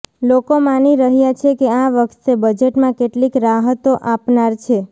લોકોમાંની રહ્યા છે કે આ વખતે બજેટમાં કેટલીક રાહતો આપનાર છે